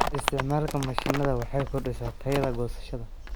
Isticmaalka mishiinada waxay kordhisaa tayada goosashada.